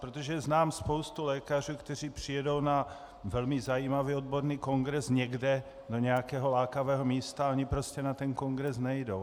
Protože znám spoustu lékařů, kteří přijedou na velmi zajímavý odborný kongres někde do nějakého lákavého místa a oni prostě na ten kongres nejdou.